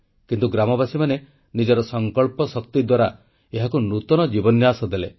କିନ୍ତୁ ଗ୍ରାମବାସୀ ନିଜର ସଂକଳ୍ପ ଶକ୍ତି ଦ୍ୱାରା ଏହାକୁ ନୂତନ ଜୀବନ୍ୟାସ ଦେଲେ